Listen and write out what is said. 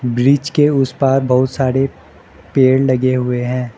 Bridge के उस पार बहुत सारे पेड़ लगे हुए हैं।